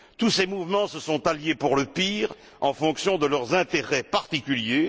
Tous ces mouvements se sont alliés pour le pire en fonction de leurs intérêts particuliers.